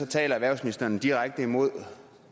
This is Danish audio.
taler erhvervsministeren direkte imod